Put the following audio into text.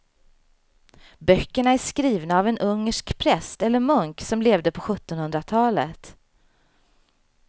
Böckerna är skrivna av en ungersk präst eller munk som levde på sjuttonhundratalet.